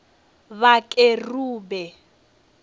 vhakerube